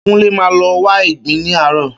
Kúnlé máa lọ wá ìgbín ní àárò.